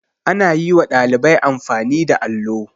Ana yi wa ɗalibai amfani da allo.